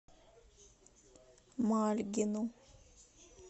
мальгину